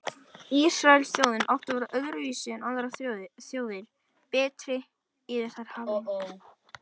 Ísraelsþjóðin átti að vera öðruvísi en aðrar þjóðir, betri og yfir þær hafin.